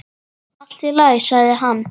Allt í lagi, sagði hann.